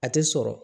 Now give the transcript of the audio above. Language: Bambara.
A tɛ sɔrɔ